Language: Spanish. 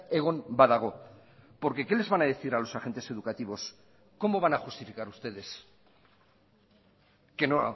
egon badago porque qué les van a decir a los agentes educativos cómo van a justificar ustedes que no